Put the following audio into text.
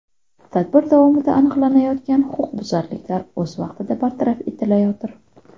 Tadbir davomida aniqlanayotgan huquqbuzarliklar o‘z vaqtida bartaraf etilayotir.